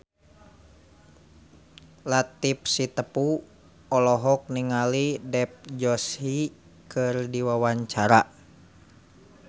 Latief Sitepu olohok ningali Dev Joshi keur diwawancara